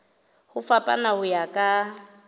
ho fapana ho ya ka